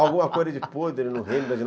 Alguma coisa de podre no reino da